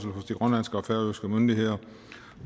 færøske myndigheder